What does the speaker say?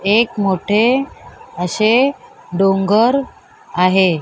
एक मोठे अशे डोंगर आहे.